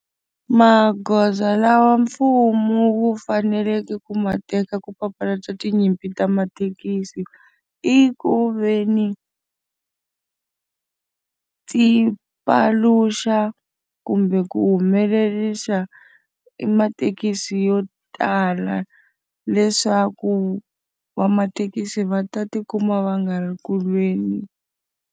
Magoza lawa mfumo wu faneleke ku ma teka ku papalata tinyimpi ta mathekisi i ku ve ni ti paluxa kumbe ku humelerisa i mathekisi yo tala leswaku va mathekisi va ta tikuma va nga ri ku lweni.